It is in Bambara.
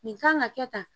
Nin kan ka kɛ tan